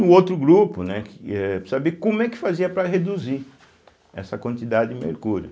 O outro grupo, né, que eh para saber como é que fazia para reduzir essa quantidade de mercúrio.